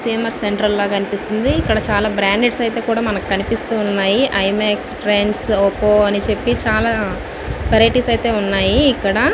Famous centre లాగా అనిపిస్తుంది ఇక్కడ చాలా బ్రాండెడ్స్ ఐతే కూడా మనకి కనిపిస్తూ ఉన్నాయి ఐ-మాక్స్ ట్రెండ్స్ ఒప్పో అని చెప్పి చాలా వెరైటీ స్ ఐతే వున్నాయి ఇక్కడ.